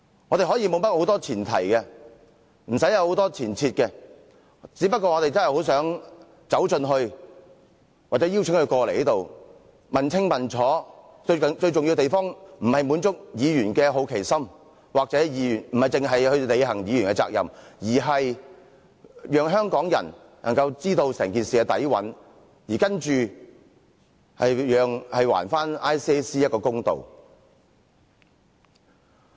我們可以沒有甚麼前提，無需很多前設，只不過我們真的很想走進去或邀請他們前來，問個清楚，最重要之處不是要滿足議員的好奇心，又或單單要履行議員的責任，而是讓香港人知道整件事的底蘊，並且還 ICAC 一個公道。